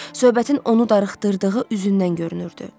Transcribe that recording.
Söhbətin onu darıxdırdığı üzündən görünürdü.